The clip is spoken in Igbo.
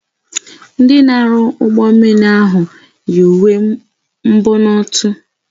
Ndị na-arụ ụgbọ mmiri ahụ yi uwe mbonotu.